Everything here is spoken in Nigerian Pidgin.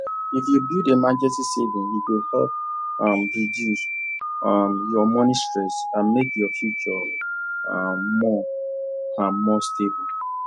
if you build emergency savings e go help um reduce um your money stress and make your future um more um more stable